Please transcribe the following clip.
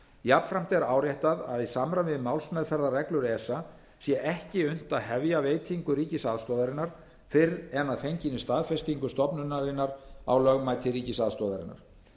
jafnframt er áréttað að í samræmi við málsmeðferðarreglur esa sé ekki unnt að hefja veitingu ríkisaðstoðarinnar fyrr en að fenginni staðfestingu stofnunarinnar á lögmæti ríkisaðstoðarinnar